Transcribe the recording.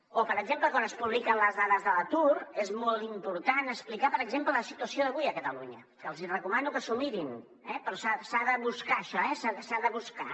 o per exemple quan es publiquen les dades de l’atur és molt important explicar per exemple la situació d’avui a catalunya que els hi recomano que s’ho mirin eh però s’ha de buscar això s’ha de buscar